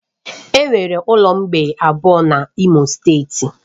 Enwere ụlọ mgbei abụọ n'Imo steeti